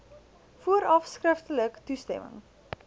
vooraf skriftelik toestemming